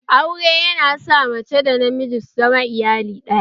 Aure yana sa mace da namiji su zama iyali ɗaya